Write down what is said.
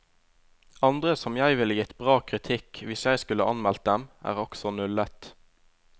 Andre som jeg ville gitt bra kritikk, hvis jeg skulle anmeldt dem, er også nullet.